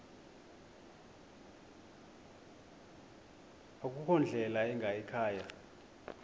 akukho ndlela ingayikhaya